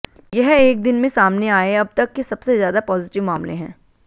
यह एक दिन में सामने आए अब तक के सबसे ज्यादा पॉजिटिव मामले हैं